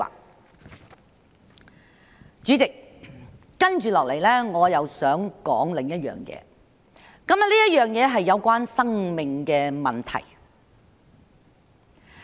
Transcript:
代理主席，接下來我想說另一件事，這件事是關於生命的問題。